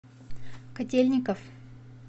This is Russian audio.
котельников